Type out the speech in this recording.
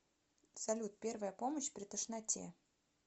салют первая помощь при тошноте